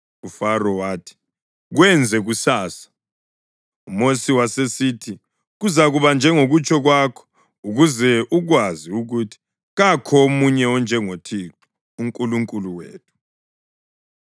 UFaro wathi, “Kwenze kusasa.” UMosi wasesithi, “Kuzakuba njengokutsho kwakho ukuze ukwazi ukuthi kakho omunye onjengoThixo uNkulunkulu wethu.